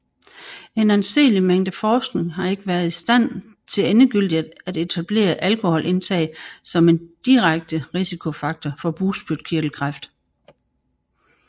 En anseelig mængde forskning har ikke været i stand til endegyldigt at etablere alkoholindtag som en direkte risikofaktor for bugspytkirtelkræft